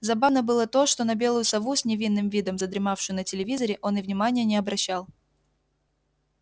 забавно было то что на белую сову с невинным видом задремавшую на телевизоре он и внимания не обращал